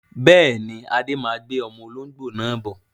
Bẹ́ẹ̀ni, Adé má gbé ọmọ olóngbó náà bọ̀